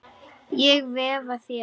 Ég veifa þér.